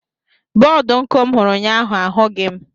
Bọdụ nku m hụrụ ụnyaahụ ahụghị m.